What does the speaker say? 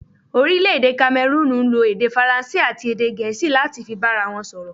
Orílẹ̀dè 'Kamerúnù n lo èdè faransé àti èdè gèésì láti fi bára won sòrò